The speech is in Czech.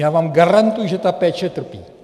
Já vám garantuji, že ta péče trpí.